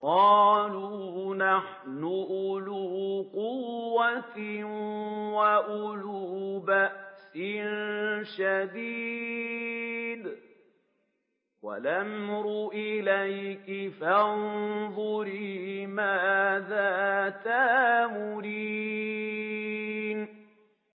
قَالُوا نَحْنُ أُولُو قُوَّةٍ وَأُولُو بَأْسٍ شَدِيدٍ وَالْأَمْرُ إِلَيْكِ فَانظُرِي مَاذَا تَأْمُرِينَ